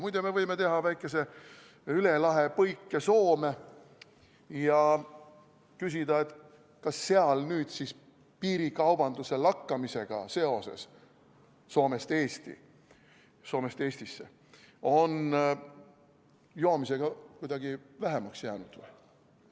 Muide, me võime teha väikese üle lahe põike Soome ja küsida, kas seal nüüd siis piirikaubanduse lakkamisega Soome ja Eesti vahel on joomist vähemaks jäänud?